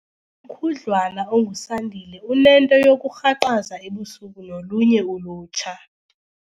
khudlwana onguSandile unento yokurhaqaza ebusuku nolunye ulutsha.